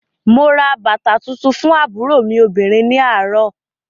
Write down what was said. Mo ra bàtà tuntun fún àbúrò mi obìnrin ní àárọ̀